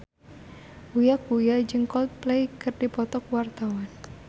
Uya Kuya jeung Coldplay keur dipoto ku wartawan